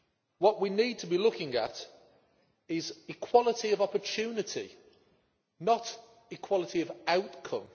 What we need to be looking at is equality of opportunity, not equality of outcome.